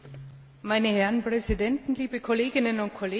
Meine Herren Präsidenten, liebe Kolleginnen und Kollegen!